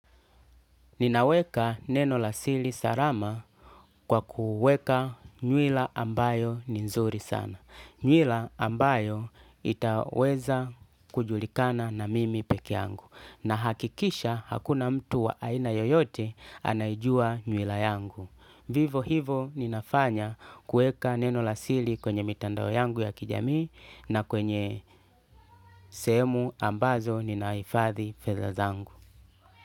Ninaweka neno la sili salama kwa kuweka nywila ambayo ni nzuri sana. Nywila ambayo itaweza kujulikana na mimi pekeyangu. Nahakikisha hakuna mtu wa aina yoyote anaijua nywila yangu. Vivo hivo ninafanya kuweka neno la siri kwenye mitandao yangu ya kijamii na kwenye sehemu ambazo ninahifadhi fedha zangu.